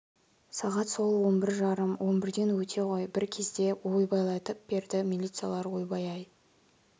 сағат сол он бір жарым он бірден өте ғой бір кезде ойбайлатып перді милициялар ойбай ай